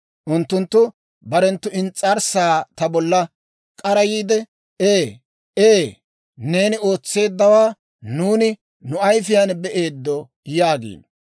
Unttunttu barenttu ins's'arssaa ta bolla k'arayiide, «Ee, ee, neeni ootseeddawaa nuuni nu ayifiyaan be'eeddo» yaagiino.